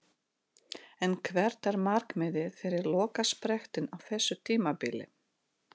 En hvert er markmiðið fyrir lokasprettinn á þessu tímabili?